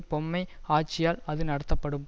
பொம்மை ஆட்சியால் அது நடத்தப்படும்